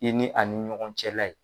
I ni a ni ɲɔgɔn cɛ la ye.